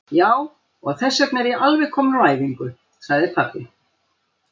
Já, og þessvegna er ég alveg kominn úr æfingu, sagði pabbi.